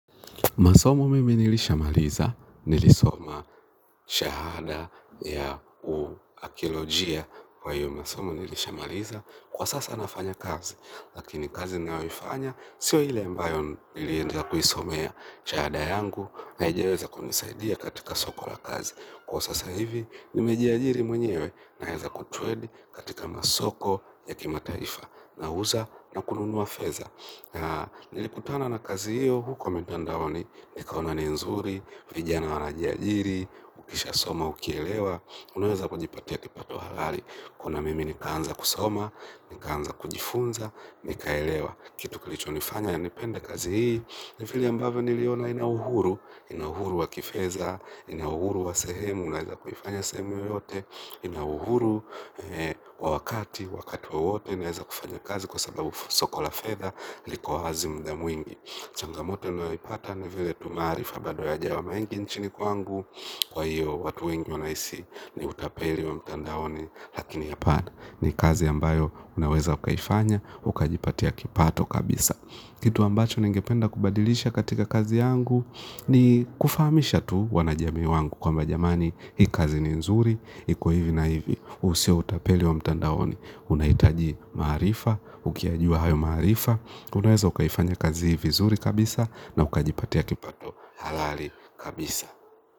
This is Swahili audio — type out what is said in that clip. Masomo mimi nilishamaliza, nilisoma shahada ya uakiolojia kwa hiyo masomo nilishamaliza. Kwa sasa nafanya kazi, lakini kazi ninayoifanya, sio ile ambayo nilienda kuisomea shahada yangu, haijaweza kunisaidia katika soko la kazi. Kwa sasa hivi, nimejiajiri mwenyewe, naeza kutredi katika masoko ya kimataifa. Nauza, na kununua feza. Na nilipotoana na kazi hiyo, huko mitandaoni, nikaona ni nzuri, vijana wanajiajiri, ukishasoma, ukielewa unaweza kujipatia kipato halali kuona mimi nikaanza kusoma, nikaanza kujifunza, nikaelewa. Kitu kilichonifanya, nipende kazi hii, ni file ambavyo niliona ina uhuru, ina uhuru wa kifeza, ina uhuru wa sehemu, unaweza kuifanya sehemu yoyote ina uhuru wakati wowote naeza kufanya kazi kwa sababu soko la fedha liko wazi mda mwingi changamoto ninayoipata ni vile tu maarifa bado yajawa mengi nchini kwangu kwa hiyo watu wengi wanaisi ni utapeli wa mtandaoni lakini hapana ni kazi ambayo unaweza ukaifanya ukajipatia kipato kabisa kitu ambacho ningependa kubadilisha katika kazi yangu ni kufamisha tu wanajami wangu kwamba jamani hii kazi ni nzuri. Iko hivi na hivi, huu sio utapeli wa mtandaoni. Unahitaji maarifa, ukiyajua hayo maarifa unaweza ukaifanya kazi hii vizuri kabisa. Na ukajipatia kipato halali kabisa.